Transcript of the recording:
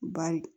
Bari